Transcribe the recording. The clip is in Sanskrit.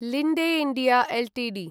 Linde India Ltd